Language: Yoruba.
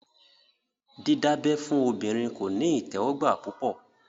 Dídábẹ́ fún obìnrin kò ní ìtẹ́wọ́gbà púpọ̀